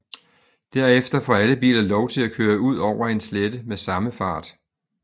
Derefter får alle biler lov til at køre ud over en slette med samme fart